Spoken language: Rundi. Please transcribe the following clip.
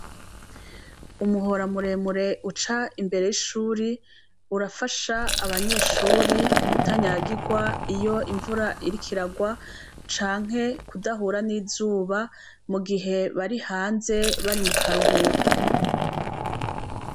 Umuhora muremure uca imbere yishure urafasha abanyeshure kutanyagirwa iyo imvura iriko iragwa canke kudahura nizuba mugihe bari hanze bari mukaruhuko